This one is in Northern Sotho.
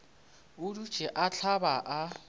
a dutše a hlaba a